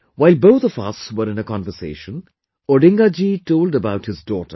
While both of us were in a conversation, Odinga ji told about his daughter